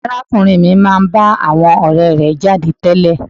Arákùnrin mi máa ń bá àwọn ọ̀rẹ́ẹ rẹ̀ jáde tẹ́lẹ̀.